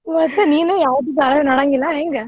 ಒಟ್ಟ ನೀನು ಯಾವ್ದು ಧಾರಾವಾಹಿ ನೋಡಂಗಿಲ್ಲ ಹೆಂಗ.